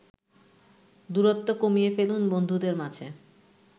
দূরত্ব কমিয়ে ফেলুন বন্ধুদের মাঝে।